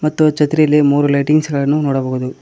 ಮತ್ತು ಛತ್ರಿಲಿ ಮೂರು ಲೈಟಿಂಗ್ಸ್ ಗಳನ್ನು ನೋಡಬಹುದು.